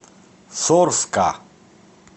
сорска